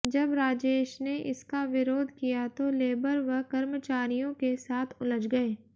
जब राजेश ने इसका विरोध किया तो लेबर व कर्मचारियों के साथ उलझ गए